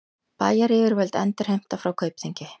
Bæjaryfirvöld endurheimta frá Kaupþingi